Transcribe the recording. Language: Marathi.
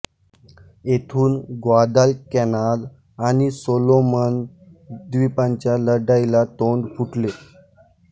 येथून ग्वादालकॅनाल आणि सोलोमन द्वीपांच्या लढाईला तोंड फुटले